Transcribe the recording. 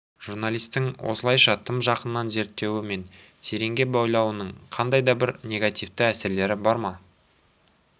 журналистің осылайша тым жақыннан зерттеуі мен тереңге бойлауының қандай да бір негативті әсерлері бар ма